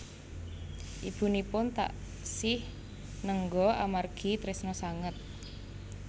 Ibunipun taksih nengga amargi tresna sanget